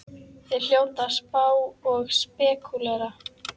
Þeir hljóta að spá og spekúlera!